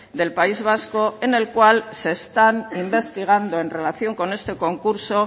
del país vasco en el cual se están investigando en relación con este concurso